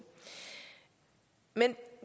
men